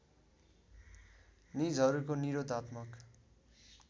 निजहरूको निरोधात्मक